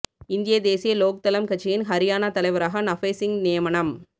இந்திய தேசிய லோக் தளம் கட்சியின் ஹரியாணா தலைவராக நஃபே சிங் நியமனம்